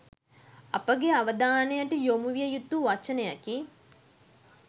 අපගේ අවධානයට යොමු විය යුතු වචනයකි